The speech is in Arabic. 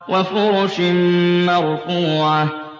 وَفُرُشٍ مَّرْفُوعَةٍ